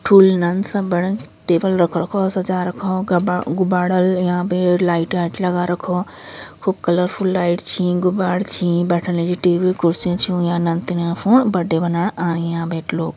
फुलदान सा बड़न टेबल रख रखो सजा रखो गब्बड़ - गुब्बाडा यहां पे हई लाईट वाइट लगा रखो खूब कलरफुल लाईट छीं गुब्बाड छीं बेठाण टेबल ख़ुर्शी च्यौं एक नतनया फोण बर्थडे मनाणी अनियाँ बेठलो।